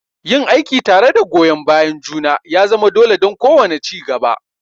Yin aiki tare da goyon bayan juna ya zama dole don kowane ci gaba.